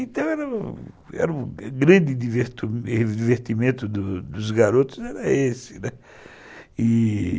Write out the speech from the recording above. Então o grande divertimento dos garotos era esse, né. E...